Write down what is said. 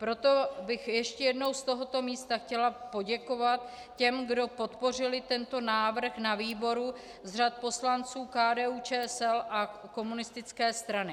Proto bych ještě jednou z tohoto místa chtěla poděkovat těm, kdo podpořili tento návrh na výboru z řad poslanců KDU-ČSL a komunistické strany.